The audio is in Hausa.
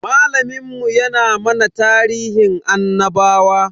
Malamin mu ya na mana tarihin annabawa.